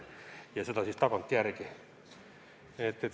Ja seda siis tagantjärele.